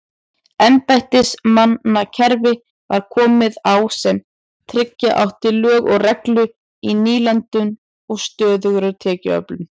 Embættismannakerfi var komið á sem tryggja átti lög og reglu í nýlendunum og stöðuga tekjuöflun.